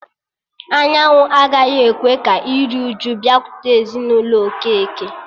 Anyanwụ agaghị ekwe ka iriuju bịakwute ezinụlọ Okeke